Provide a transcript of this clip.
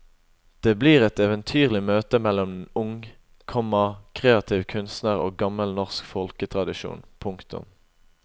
Det blir et eventyrlig møte mellom en ung, komma kreativ kunstner og gammel norsk folketradisjon. punktum